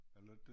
Er det ikke dét